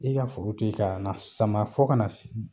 I ka foro te na sama fɔ ka na se